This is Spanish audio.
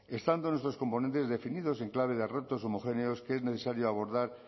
estando nuestros componentes definidos en clave de retos homogéneos que es necesario abordar